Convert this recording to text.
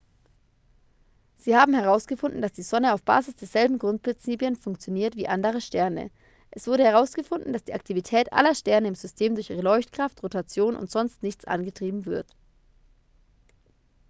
sie haben herausgefunden dass die sonne auf basis derselben grundprinzipien funktioniert wie andere sterne es wurde herausgefunden dass die aktivität aller sterne im system durch ihre leuchtkraft rotation und sonst nichts angetrieben wird